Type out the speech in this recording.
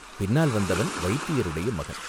பின்னால் வந்தவன் வைத்தியருடைய மகன்.